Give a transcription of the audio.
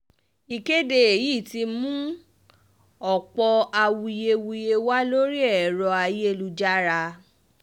ìkéde yìí ti mú ọ̀pọ̀ awuyewuye wá lórí ẹ̀rọ ayélujára